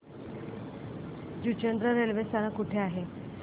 Juchandra railway स्थानक कुठे आहे